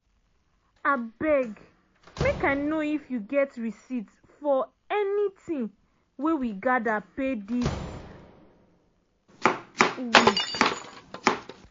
abeg make i know if you get receipt for any ting wey we gather pay this week.